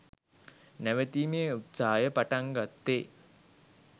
නැවතීමේ උත්සාහය පටන්ගත්තෙ